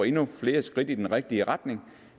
endnu flere skridt i den rigtige retning